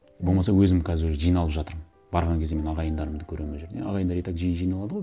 болмаса өзім қазір уже жиналып жатырмын барған кезде мен ағайындарымды көремін ол жерде ағайындар итак жиі жиналады ғой